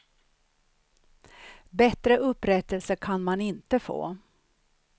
Bättre upprättelse kan man inte få.